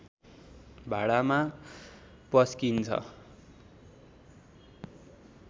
भाँडामा पस्किइन्छ